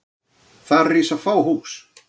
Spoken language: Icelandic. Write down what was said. Þar rísa fá hús.